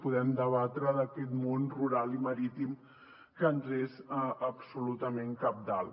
podem debatre sobre aquest món rural i marítim que ens és absolutament cabdal